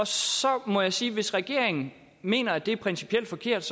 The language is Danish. så må jeg sige at hvis regeringen mener at det er principielt forkert